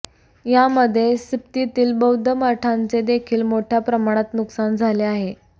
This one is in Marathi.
यामध्ये सिप्तीतील बौध्द मठांचे देखील मोठ्या प्रमाणात नुकसान झाले आहे